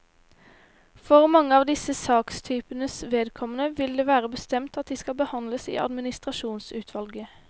For mange av disse sakstypenes vedkommende vil det være bestemt at de skal behandles i administrasjonsutvalget.